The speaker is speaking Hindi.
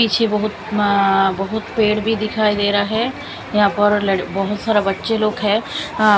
पीछे बहुत अह बहुत पेड़ भी दिखाई दे रहा है यहां पर लड़ बहुत सारा बच्चे लोग है अह--